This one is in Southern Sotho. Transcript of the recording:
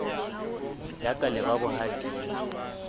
ya ka le ba bohading